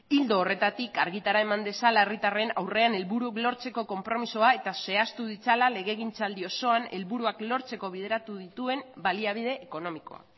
ildo horretatik argitara eman dezala herritarren aurrean helburuak lortzeko konpromezua eta zehaztu ditzala legegintzaldi osoan helburuak lortzeko bideratu dituen baliabide ekonomikoa